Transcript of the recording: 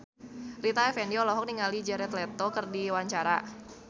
Rita Effendy olohok ningali Jared Leto keur diwawancara